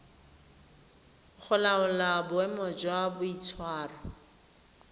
go laola boemo jwa boitshwaro